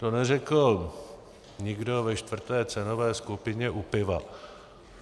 To neřekl nikdo ve čtvrté cenové skupině u piva.